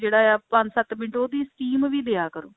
ਜਿਹੜਾ ਆ ਪੰਜ ਸੱਤ ਮਿੰਟ ਉਹਦੀ steam ਵੀ ਦਿਆ ਕਰੋ